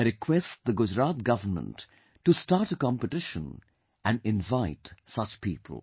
I request the Gujarat government to start a competition and invite such people